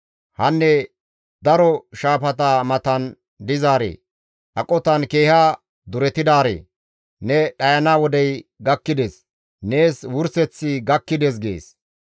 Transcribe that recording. Hanne daro shaafata matan dizaaree! aqotan keeha duretidaaree! Ne dhayana wodey gakkides; nees wurseththi gakkides» gees.